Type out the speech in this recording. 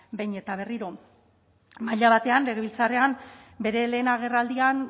behin eta berriro maila batean legebiltzarrean bere lehen agerraldian